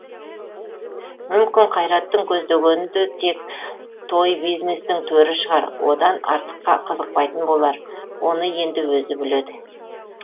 мүмкін қайраттың көздегені де тек тойбизнестің төрі шығар одан артыққа қызықпайтын болар оны енді өзі біледі